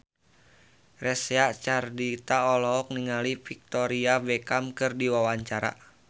Reysa Chandragitta olohok ningali Victoria Beckham keur diwawancara